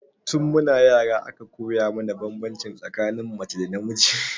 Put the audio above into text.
Tun mu na yara aka koya mana banbanci tsakanin mace da namiji